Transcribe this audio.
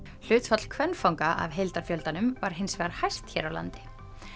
hlutfall kvenfanga af heildarfjöldanum var hins vegar hæst hér á landi